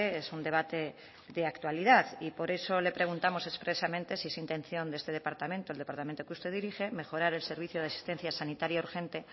es un debate de actualidad y por eso le preguntamos expresamente si es intención de este departamento el departamento que usted dirige mejorar el servicio de asistencia sanitaria urgente